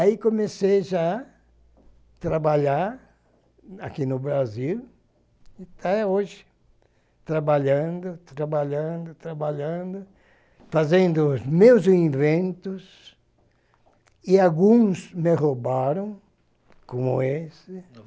Aí comecei já a trabalhar aqui no Brasil, até hoje, trabalhando, trabalhando, trabalhando, fazendo os meus inventos, e alguns me roubaram, como esse.